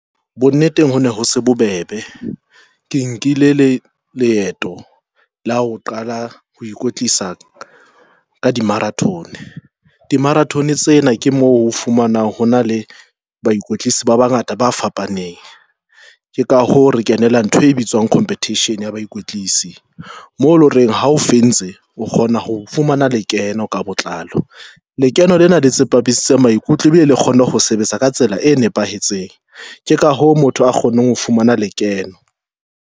Bonneteng ho ne ho se bobebe ke nkile le leeto la ho qala ho ikwetlisa ka di-marathon. Di-marathon tsena ke moo o fumanang ho na le bakwetlisi ba bangata ba fapaneng, keka hoo re kenela ntho e bitswang competition ya bakwetlisi mo loreng ha o o kgona ho fumana lekeno ka botlalo. Lekeno lena la tsepamisitse maikutlo e bile le kgone ho sebetsa ka tsela e nepahetseng. Ke ka hoo motho a kgonneng ho fumana lekeno.